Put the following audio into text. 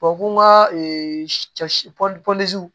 ko n ka